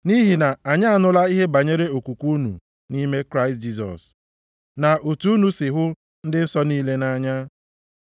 Nʼihi na anyị anụla ihe banyere okwukwe unu nʼime Kraịst Jisọs, na otu unu si hụ ndị nsọ niile nʼanya.